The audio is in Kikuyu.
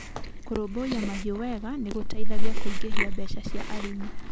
Kũrũmbũiya mahiũ wega nĩ gũteithagia kũingĩria mbeca cia arĩmi.